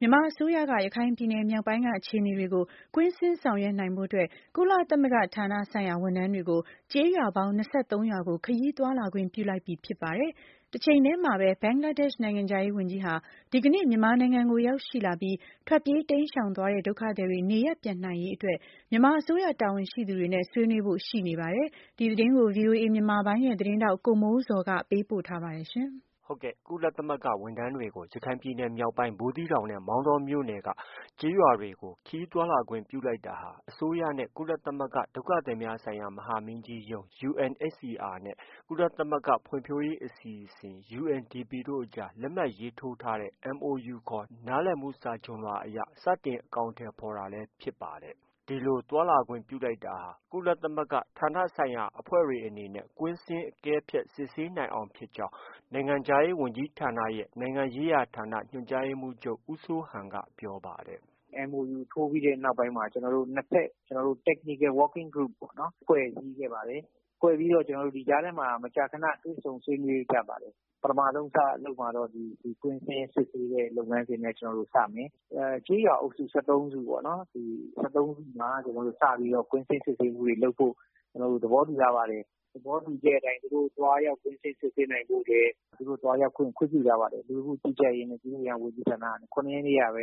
မြန်မာအစိုးရက ရခိုင်ပြည်နယ်မြောက်ပိုင်းက အခြေအနေတွေကို ကွင်းဆင်းဆောင်ရွက်နိုင်ဖို့အတွက် ကုလသမဂ္ဂဌာနဆိုင်ရာ ဝန်ထမ်းတွေကို ကျေးရွာပေါင်း ၂၃ရွာကို ခရီးသွားလာခွင့်ပြုလိုက်ပြီဖြစ်ပါတယ်။ တချိန်တည်းမှာပဲ ဘင်္ဂလားဒေ့ရှ်နိုင်ငံခြားရေးဝန်ကြီးဟာ ဒီကနေ့ မြန်မာနိုင်ငံကို ရောက်ရှိလာပြီး ထွက်ပြေးတိမ်းရှောင်သွားတဲ့ ဒုက္ခသည်တွေနေရပ်ပြန်နိုင်အရေးအတွက် မြန်မာအစိုးရတာဝန်ရှိသူတွေနဲ့ ဆွေးနွေးဖို့ရှိနေပါတယ်။ ဒီသတင်းကို ဗွီအိုအေမြန်မာပိုင်းရဲ့သတင်းထောက် ကိုမိုးဇော်က တင်ပြထားပါတယ်။ ကုလသမဂ္ဂဝန်ထမ်းတွေကို ရခိုင်ပြည်နယ်မြောက်ပိုင်း ဘူးသီးတောင်နဲ့ မောင်တောမြို့နယ် ကျေးရွာ တွေကို ခရီးသွားလာခွင်ပြုလိုက်တာဟာ အစိုးရနဲ့ ကုလသမဂ္ဂ ဒုက္ခသည်များဆိုင်ရာ မဟာမင်းကြီးရုံးUNHCR နဲ့ ကုလသမဂ္ဂဖွံ့ဖြိုးရေးအစီအစဉ် UNDPတို့အကြား လက်မှတ်ရေးထိုးထားတဲ့ MoU ခေါ် နားလည်မှု စာချွန်လွှာကို စတင်အကောင်အထည်ဖော်တာလည်း ဖြစ်ပါတယ်။ ဒီလို သွားလာခွင့်ပြုလိုက်တာ ကုလသမဂ္ဂဌာနဆိုင်ရာအဖွဲ့တွေအနေနဲ့ ကွင်းဆင်း၊ အကဲဖြတ် စစ်ဆေးနိုင်အောင်ဖြစ်ကြောင်း နိုင်ငံခြားရေးဝန်ကြီးဌာနရဲ့ နိုင်ငံရေးရာဌာန ညွှန်ကြားရေးမှုးချုပ် ဦးစိုးဟန်က ပြောပါတယ်။ “ MoU ထိုးပြီးတဲ့နောက်ပိုင်းမှာ ကျနော်တို့ နှစ်ဖက် Technical Working Group ပေါ့။ ဖွဲ့စည်းခဲ့ပါတယ်။ ဖွဲ့ပြီးတော့ ဒီကြားထဲမှာ မကြာခန တွေ့ဆုံဆွေးနွေးကြပါတယ်။ ပထမဆုံးလုပ်မှာကတော့ ဒီကွင်းဆင်း စစ်ဆေးတဲ့ လုပ်ငန်းစဉ်နဲ့ စမယ်။ ကျေးရွာအုပ်စု ၁၃စု ၊ ဒီ၁၃စုမှာ စပြီးတော့ ကွင်းဆင်းစစ်ဆေးမှုတွေ လုပ်ဖို့ သဘောတူထားပါတယ်။ အဲဒီသဘောတူချက်အတိုင်း သူတို့ သွားရောက် ကွင်းဆင်းစစ်ဆေးနိုင်ဖို့ သူတို့ သွားရောက်ခွင့် ခွင့်ပြုထားပါတယ်။ လူဝန်မှုကြီးကြပ်ရေးနဲ့ ပြည်သူ့အင်အားဝန်ကြီးဌာနက ၇ရက်နေ့ကပဲ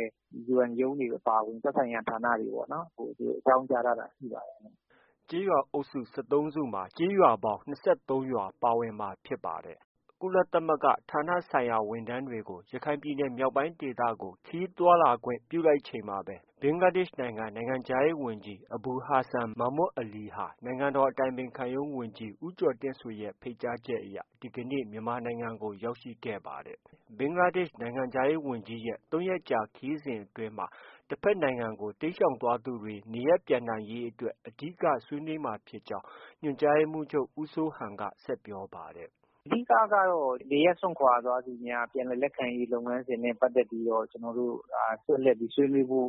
UN ရုံးတွေအပါအဝင် သက်ဆိုင်ရာ ဌာနတွေကို အကြောင်းကြားထားတာ ရှိပါတယ်။ ” ကျေးရွာအုပ်စု ၁၃စုမှာ ကျေးရွာပေါင်း ၂၃ရွာပါဝင်မှာဖြစ်ပါတယ်။ ကုလသမဂ္ဂဌာနဆိုင်ရာ ဝန်ထမ်းတွေကို ရခိုင်ပြည်နယ်မြောက်ပိုင်းဒေသကို ခရီးသွားလာခွင့်ပြုလိုက်ချိန်မှာပဲ ဘင်္ဂလားဒေ့ရှ်နိုင်ငံခြားရေးဝန်ကြီး အဘူဟာဆန် မာမွတ်အလီဟာ နိုင်ငံတော်အတိုင်ပင်ခံရုံးဝန်ကြီး ဦးကျော်တင်ဆွေရဲ့ ဖိတ်ကြားချက်အရ ဒီကနေ့ မြန်မာနိုင်ငံကို ရောက်ရှိခဲ့ပါတယ်။ ဘင်္ဂလားဒေ့ရှ်နိုင်ငံခြားရေးဝန်ကြီးဝန်ကြီးရဲ့ ၃ရက်ကြာခရီးစဉ်အတွင်းမှာ တဖက်နိုင်ငံကို တိမ်းရှောင်သွားသူတွေ နေရပ်ပြန်နိုင်ရေးအတွက် အဓိက ဆွေးနွေးမှာဖြစ်ကြောင်း ညွှန်ကြားရေးမှုးချုပ် ဦးစိုးဟန်က ဆက်ပြောပါတယ်။ “ အဓိက ကတော့ နေရပ်စွန့်ခွာသွားသူများ ပြန်လည်လက်ခံရေးလုပ်ငန်းစဉ်နဲ့ပတ်သက်ပြီး ဆက်လက်ပြီးဆွေးနွေးဖို့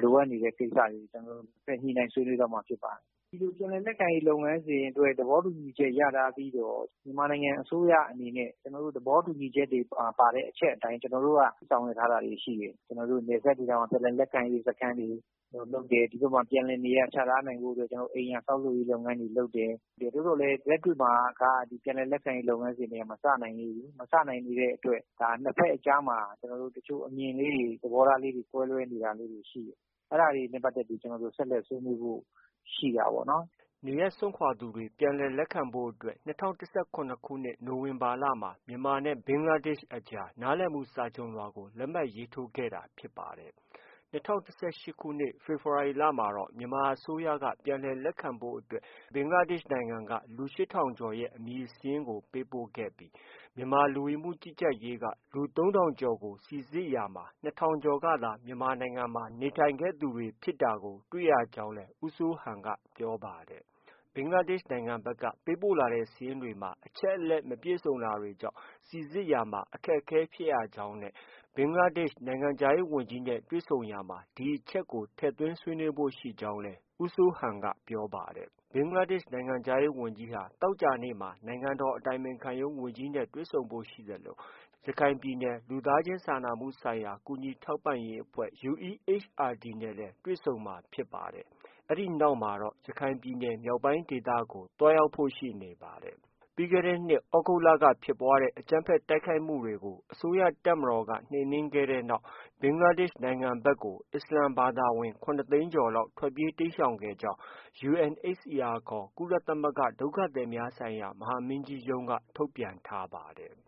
လိုအပ်နေတဲ့ကိစ္စတွေ ကျနော်တို့ ဆက်လက်ဆွေးနွေးသွားမှာဖြစ်ပါတယ်။ ဒီလို ပြန်လည် လက်ခံရေးလုပ်ငန်းစဉ်အတွက် သဘောတူညီချက် ရထားပြီးတော့ မြန်မာနိုင်ငံအစိုးရအနေနဲ့ သဘောတူညီချက်မှာ ပါတဲ့အချက်အတိုင်း ကျနော်တို့က ဆောင်ရွက်ထားတာတွေ ရှိတယ်။ နယ်စပ်ဒေသမှာ ပြန်လည်လက်ခံရေးစခန်းတွေ လုပ်တယ်။ ဒီဖက်မှာ ပြန်လည်နေရာချထားရေးအတွက် အိမ်ယာဆောက်လုပ်ရေးလုပ်ငန်းတွေ လုပ်တယ်။ သို့သော်လည်း လက်တွေ့မှာက ပြန်လည်လက်ခံရေးလုပ်ငန်းတွေက မစနိုင်သေးဘူး။ မစနိုင်သေးတဲ့အတွက် နှစ်ဖက်အကြားမှာ အမြင်လေးတွေ သဘောထားလေးတွေ ကွဲလွဲနေတာတွေ ရှိတယ်။ အဲဒါတွေနဲ့ပတ်သက်ပြီး ကျနော်တို့ ဆက်လက် ဆွေးနွေးဖို့ ရှိတာပေါ့နော်။ ” နေရပ်စွန့်ခွာသွားသူတွေ ပြန်လည်လက်ခံဖို့အတွက် ၂၀၁၇ခုနှစ် နိုဝင်ဘာလမှာ မြန်မာနဲ့ ဘင်္ဂလားဒေ့ရှ်နိုင်ငံအကြားမှာ နားလည်မှုစာချွန်လွှာကို လက်မှတ်ရေးထိုးထားတာဖြစ်ပါတယ်။ ၂၀၁၈ခုနှစ် ဖေဖေါ်ဝါရီလမှာ မြန်မာအစိုးရက ပြန်လည်လက်ခံဖို့အတွက် ဘင်္ဂလားဒေ့ရှ်အစိုးရက လူ၈ထောင်ကျော် ရဲ့ အမည်စာရင်းတွေကို ပေးပို့ခဲ့ပြီး မြန်မာ လူဝင်မှုကြီးကြပ်ရေးက လူ၃ထောင်ကျော်ကို စိစစ်ရာမှာ ၂ထောင်ကျော်သာ မြန်မာပြည်မှာ နေထိုင်သူတွေဖြစ်တာကို တွေ့ရကြောင်းလည်း ဦးစိုးဟန်က ပြောပါတယ်။ ဘင်္ဂလားဒေ့ရ်ှ နိုင်ငံဖက်က ပေးပို့လာတဲ့ စာရင်းတွေဟာ အချက်အလက်မပြည်စုံတာကြောင့် စိစစ်ရာမှာ အခက်အခဲရှိရကြောင်းနဲ့ ဘင်္ဂလားဒေရှ်နိုင်ငံခြားရေးဝန်ကြီးနဲ့တွေ့ဆုံရာမှာလည်း ဒီအချက်ကို ထည့်သွင်းဆွေးနွေးဖို့ ရှိနေကြောင်း ပြောပါတယ်။ ဘင်္ဂလားဒေရှ်နိုင်ငံခြားရေးဝန်ကြီးဟာ သောကြာနေ့မှာ နိုင်ငံတော်အတိုင်ပင်ခံရုံးဝန်ကြီးနဲ့ တွေ့ဆုံဖို့ ရှိသလို ရခိုင်ပြည်နယ် လူသားချင်းစာနာမှု ဆိုင်ရာ ကူညီထောက်ပံ့ရေးအဖွဲ့ UEHRD နဲ့လည်း တွေ့ဆုံမှာဖြစ်ပါတယ်။ အဲဒီနောက်မှာတော့ ရခိုင်ပြည်နယ် မြောက်ပိုင်းဒေသကိုလည်း သွားရောက်ဖို့ရှိနေပါတယ်။ ပြီးခဲ့တဲ့နှစ် သြဂုတ်လက ဖြစ်ပွားတဲ့ အကြမ်းဖက် တိုက်ခိုက်မှု တွေကို အစိုးရတပ်မတော်က နှိမ်နင်းခဲ့တဲ့နောက် ဘင်္ဂလား ဒေ့ရှ်နိုင်ငံဖက်ကို အစ္စလာမ်ဘာသာဝင် ၇သိန်းကျော်လောက်ဟာ ထွက်ပြေးတိမ်းရှောင် သွားခဲ့ကြောင်း UNHCR ခေါ် ကုလသမဂ္ဂ ဒုက္ခသည်များဆိုင်ရာ မဟာမင်းကြီးရုံးက ထုတ်ပြန်ထားပါတယ်။